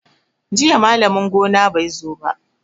Jiya malamin gona bai zo ba.